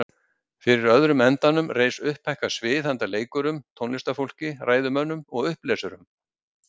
Fyrir öðrum endanum reis upphækkað svið handa leikurum, tónlistarfólki, ræðumönnum og upplesurum.